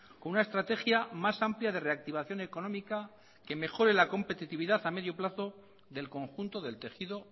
con una estrategia más amplia de reactivación económica que mejore la competitividad a medio plazo del conjunto del tejido